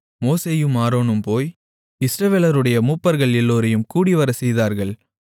மோசேயும் ஆரோனும் போய் இஸ்ரவேலர்களுடைய மூப்பர்கள் எல்லோரையும் கூடிவரச் செய்தார்கள்